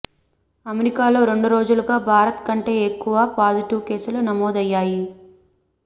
అమెరికాలో రెండు రోజులుగా భారత్ కంటే ఎక్కువ పాజిటివ్ కేసులు నమోదయ్యాయి